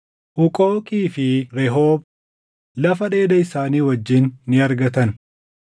Huuqooqii fi Rehoob lafa dheeda isaanii wajjin ni argatan;